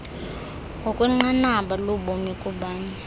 ngokwenqanaba lobomi kubanye